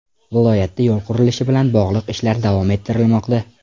Viloyatda yo‘l qurilishi bilan bog‘liq ishlar davom ettirilmoqda.